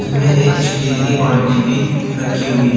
इसमें एक स्टील की बाल्टी भी रखी हुई है।